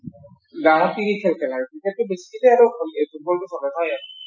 গাওঁত কি কি খেল খেলা আৰু? ক্ৰিকেট টো